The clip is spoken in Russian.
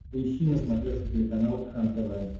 поищи на смотрешке телеканал кхлм тв